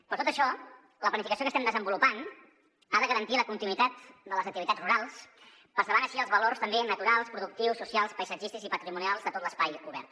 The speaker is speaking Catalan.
per tot això la planificació que estem desenvolupant ha de garantir la continuïtat de les activitats rurals preservant així els valors també naturals productius socials paisatgístics i patrimonials de tot l’espai obert